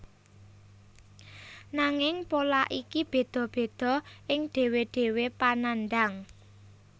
Nanging pola iki bedha bedha ing dhewe dhewe panandhang